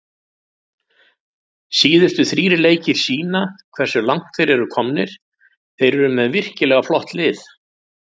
Síðustu þrír leikir sýna hversu langt þeir eru komnir, þeir eru með virkilega flott lið.